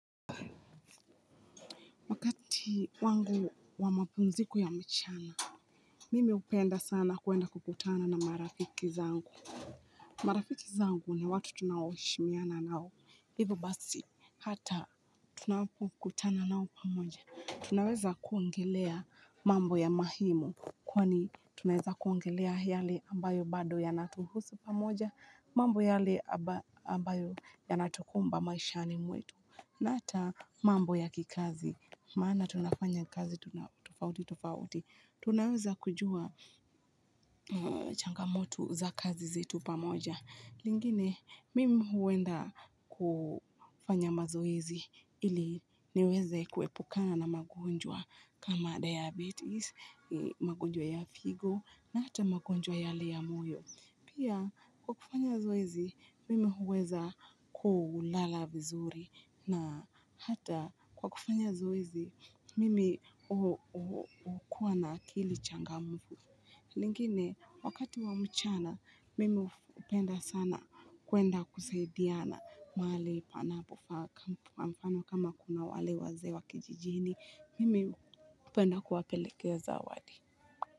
Wakati wangu wa mapumziko ya mchana mimi hupenda sana kwenda kukutana na marafiki zangu marafiki zangu ni watu tunaoheshimiana nao hivyo basi hata tunapokutana nao pamoja tunaweza kuongelea mambo ya mahimu kwani tunaweza kuongelea yale ambayo bado ya natuhusu pamoja, mambo yale ambayo ya natukumba maishani mwetu, na ata mambo ya kikazi, maana tunafanya kazi tofauti tofauti. Tunaweza kujua changamoto za kazi zetu pamoja. Lingine, mimi huenda kufanya mazoezi ili niweze kuepukana na magonjwa kama diabetes, magonjwa ya figo, na hata magonjwa yale ya moyo. Pia, kwa kufanya zoezi, mimi huweza kulala vizuri na hata kwa kufanya zoezi, mimi hukua na akili changamufu. Lingine, wakati wa mchana, mimi hupenda sana kwenda kusaidiana mahali panapofaa kwa mfano kama kuna wale wazee wa kijijini, mimi hupenda kuwapelekea zawadi.